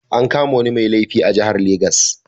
An kama wani mai laifi a jihar legas.